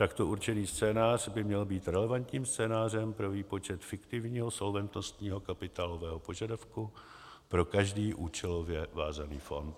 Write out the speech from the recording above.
Takto určený scénář by měl být relevantním scénářem pro výpočet fiktivního solventnostního kapitálového požadavku pro každý účelově vázaný fond.